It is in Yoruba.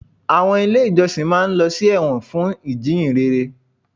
Àwọn ilé ìjọsìn máa ń lọ sí ẹ̀wọ̀n fún ìjíhìnrere